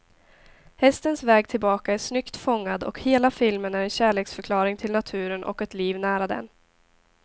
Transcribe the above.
Hästens väg tillbaka är snyggt fångad, och hela filmen är en kärleksförklaring till naturen och ett liv nära den.